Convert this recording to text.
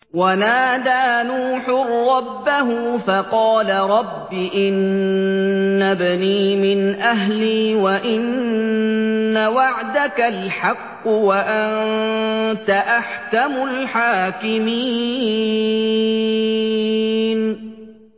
وَنَادَىٰ نُوحٌ رَّبَّهُ فَقَالَ رَبِّ إِنَّ ابْنِي مِنْ أَهْلِي وَإِنَّ وَعْدَكَ الْحَقُّ وَأَنتَ أَحْكَمُ الْحَاكِمِينَ